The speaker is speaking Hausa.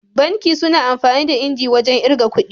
Banki suna amfani da injin wajan irga kudi